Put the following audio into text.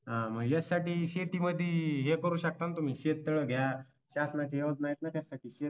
हा मग याच्यासाठी शेतीमध्ये हे करू शकता ना तुम्ही शेततळ घ्या. शासनाच्या योजना आहेत ना त्यासाठी